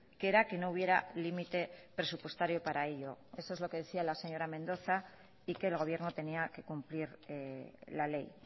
que era que no hubiera límite presupuestario para ello eso es lo que decía la señora mendoza y que el gobierno tenía que cumplir la ley